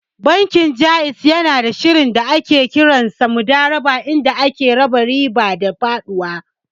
Bankin Ja'iz yanada shirin da ake kiransa Mudarabah inda ake raba riba da faɗuwa.